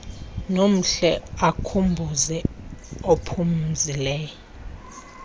nomhle akhumbuze uphumzile